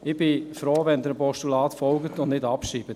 Ich bin froh, wenn Sie dem Postulat folgen und es nicht abschreiben.